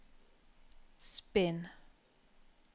spinn